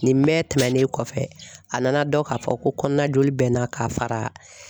Nin mɛɛ tɛmɛnen kɔfɛ a nana dɔn ka fɔ ko kɔnɔnajoli bɛ n na ka fara